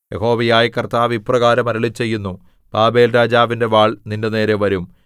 യഹോവയായ കർത്താവ് ഇപ്രകാരം അരുളിച്ചെയ്യുന്നു ബാബേൽരാജാവിന്റെ വാൾ നിന്റെനേരെ വരും